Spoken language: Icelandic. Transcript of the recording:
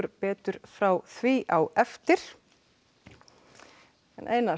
betur frá því á eftir einar